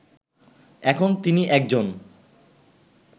এখন তিনি একজন